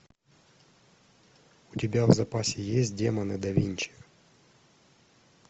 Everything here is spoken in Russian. у тебя в запасе есть демоны да винчи